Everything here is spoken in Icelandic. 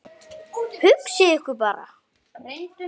Hugsið ykkur bara!